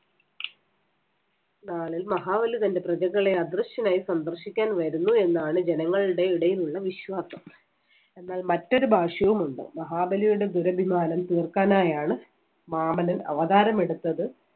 നാളിൽ മഹാബലി തന്‍റെ പ്രജകളെ അദൃശ്യനായി സന്ദർശിക്കാൻ വരുന്നു എന്നാണ് ജനങ്ങളുടെ ഇടയിലുള്ള വിശ്വാസം. എന്നാൽ മറ്റൊരു ഭാഷ്യവുമുണ്ട്. മഹാബലിയുടെ ദുരഭിമാനം തീർക്കാനായാണ് വാമനൻ അവതാരമെടുത്തത്